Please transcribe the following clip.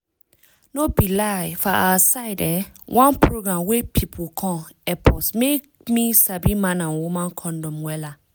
no be lie for awa side[um]one program wey pipu come epp us make me sabi man and woman condom wella